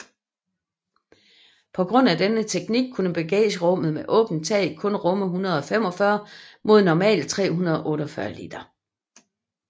På grund af denne teknik kunne bagagerummet med åbnet tag kun rumme 145 mod normalt 348 liter